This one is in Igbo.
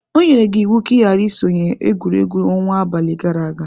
O nyere gi iwu ka ị ghara isonyere egwuregwu ọnwa abalị gara aga.